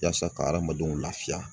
Yaasa ka adamadenw lafiya